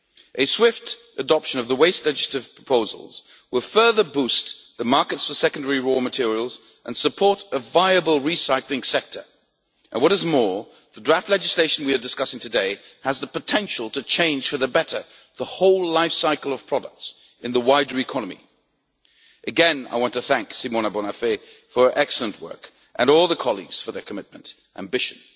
A swift adoption of the waste legislative proposals will further boost the markets for secondary raw materials and support a viable recycling sector and, what is more, the draft legislation we are discussing today has the potential to change for the better the whole life cycle of products in the wider economy. I would like, once again, to thank Simona Bonafè for her excellent work, and all the colleagues involved for their commitment and ambition